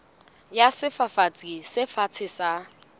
ya sefafatsi se fatshe sa